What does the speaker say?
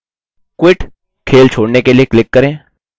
quit – खेल छोड़ने के लिए क्लिक करें